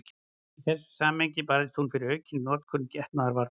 Í þessu samhengi barðist hún fyrir aukinni notkun getnaðarvarna.